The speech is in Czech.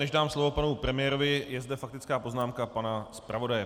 Než dám slovo panu premiérovi, je zde faktická poznámka pana zpravodaje.